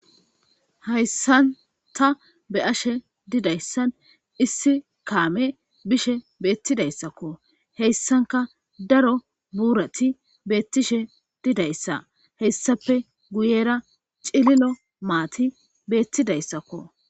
Hayssan ta be ashe didayssan issi kaame bishe beettidayssakko heyssanka daro buurati beettishe didayssa hessape guyera cililo maati beettidayssakko.